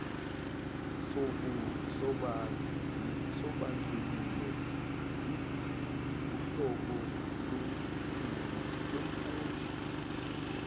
sobandlululo uhlobo lomfundi